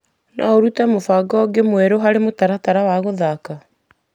No ũrute mũbango ũngĩ mwerũ harĩ mutaratara wa gũthaka.